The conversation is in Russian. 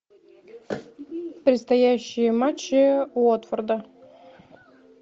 предстоящие матчи уотфорда